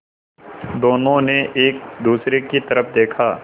दोनों ने एक दूसरे की तरफ़ देखा